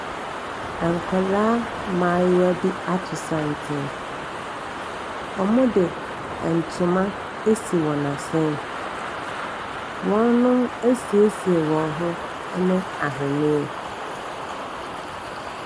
Nkwadaa mmayewa bi ato santene. Wɔde ntoma asi wɔn asene. Wɔasiesie wɔn ho ne ahwenneɛ.